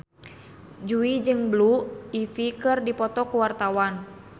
Jui jeung Blue Ivy keur dipoto ku wartawan